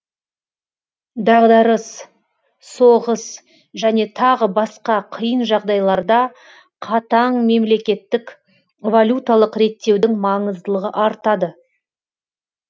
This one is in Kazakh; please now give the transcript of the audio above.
дағдарыс соғыс және тағы басқа қиын жағдайларда қатаң мемлекеттік валюталық реттеудің маңыздылығы артады